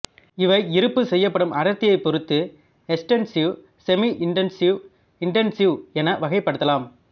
இவை இருப்பு செய்யப்படும் அடர்த்தியை பொருத்து எக்ஸ்டன்சிவ் செமி இன்டன்சிவ் இன்டன்சிவ் என வகைப்படுத்தலாம்